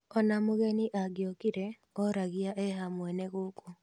Ona mũgeni angĩokire oragia eha mwene guku